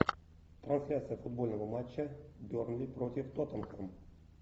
трансляция футбольного матча бернли против тоттенхэм